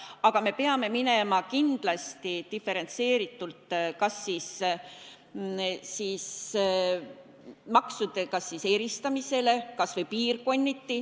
Aga me peame minema kindlasti diferentseerimisele, kas või piirkonniti maksude eristamisele.